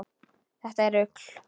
Þetta er rugl.